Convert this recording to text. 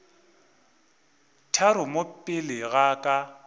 tharo mo pele ga ka